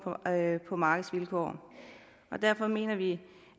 på markedsvilkår derfor mener vi